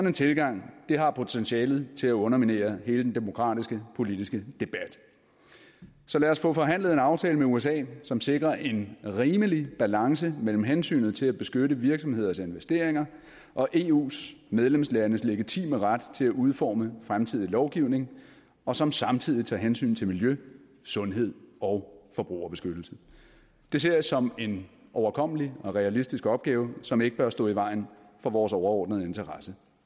en tilgang har potentiale til at underminere hele den demokratiske politiske debat så lad os få forhandlet en aftale med usa som sikrer en rimelig balance mellem hensynet til at beskytte virksomheders investeringer og eus medlemslandes legitime ret til at udforme fremtidig lovgivning og som samtidig tager hensyn til miljø sundhed og forbrugerbeskyttelse det ser jeg som en overkommelig og realistisk opgave som ikke bør stå i vejen for vores overordnede interesse